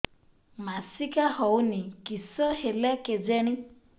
ମାସିକା ହଉନି କିଶ ହେଲା କେଜାଣି